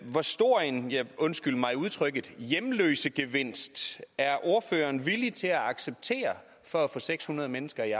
hvor stor en undskyld mig udtrykket hjemløsegevinst er ordføreren villig til at acceptere for at få seks hundrede mennesker i